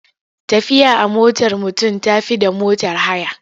Tafiya a motar mutum ta fi da motar haya.